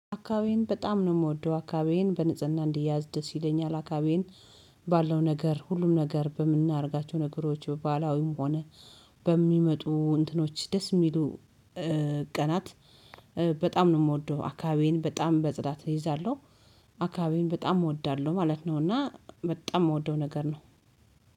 አካባቢዬን በጣም ነው የምወደው አካባቢዬን በንጽህና እንዲያዝ ደስ ይለኛል አካባቢዬን። ባለው ነገር ሁሉም ነገር በምናደርጋቸው ነገሮች ባህላዊም ሆነ በሚመጡ እንትኖች ደስ የሚሉ ቀናት በጣም ነው የምወደው አካባቢዬን በጣም በጽዳት እይዛለሁ። አካባቢዬን በጣም እወዳለሁ ማለት ነው። እና በጣም የምወደው ነገር ነው።